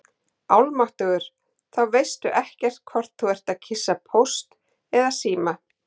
Almáttugur, þá veistu ekkert hvort þú ert að kyssa Póst eða Síma